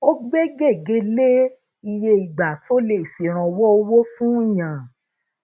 ó gbe gege le iye ìgbà tó le ṣèrànwó owo fún yan